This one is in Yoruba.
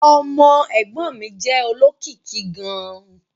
Ọmọ ẹ̀gbọ́n mi jẹ́ olókìkí gan-an